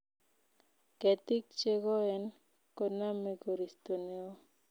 Ketik chegoen koname koristo neoo